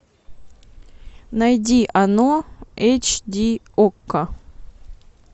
найди оно эйч ди окко